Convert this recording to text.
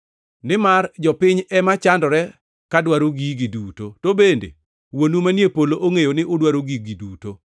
Nimar jopiny ema chandore ka dwaro gigi duto; to bende Wuonu manie polo ongʼeyo ni udwaro gigi duto.